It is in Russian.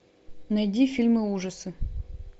найди фильмы ужасы